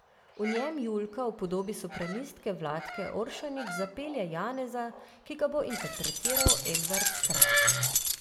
V njem Julka v podobi sopranistke Vlatke Oršanić zapelje Janeza, ki ga bo interpretiral Edvard Strah.